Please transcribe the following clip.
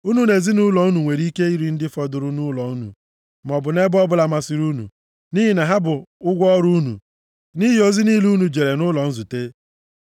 Unu na ezinaụlọ unu nwere ike iri ndị fọdụrụ nʼụlọ unu, maọbụ nʼebe ọbụla masịrị unu, nʼihi na ha bụ ụgwọ ọrụ unu nʼihi ozi niile unu jere nʼụlọ nzute.